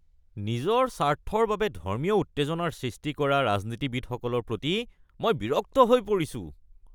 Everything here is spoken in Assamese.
নিজৰ স্বাৰ্থৰ বাবে ধৰ্মীয় উত্তেজনাৰ সৃষ্টি কৰা ৰাজনীতিবিদসকলৰ প্ৰতি মই বিৰক্ত হৈ পৰিছোঁ।